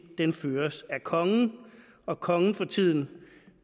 føres af kongen og kongen for tiden